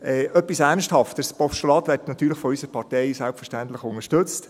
Etwas Ernsthafteres: Das Postulat wird natürlich von unserer Partei selbstverständlich unterstützt.